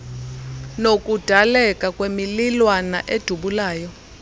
nokudaleka kwemililwana edubulayo